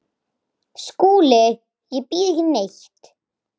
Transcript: SKÚLI: Ég býð ekki neitt.